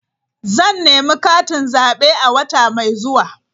Zan nemi katin zabe a wata mai zuwa.